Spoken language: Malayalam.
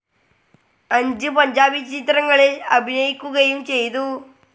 അഞ്ച് പഞ്ചാബി ചിത്രങ്ങളിൽ അഭിനയിക്കുകയും ചെയ്തു.